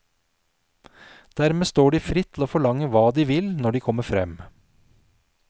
Dermed står de fritt til å forlange hva de vil når de kommer frem.